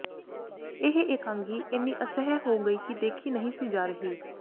ਇਹ ਇਕਾਂਗੀ ਏਨੀ ਅਸਹਿ ਹੋ ਗਈ ਕਿ ਦੇਖੀ ਨਹੀਂ ਸੀ ਜਾ ਰਹੀ